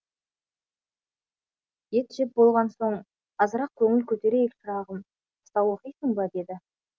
ет жеп болған соң азырақ көңіл көтерейік шырағым қыса оқисың ба деді